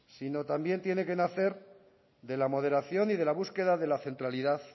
sino también tiene que nacer de la moderación y de la búsqueda de la centralidad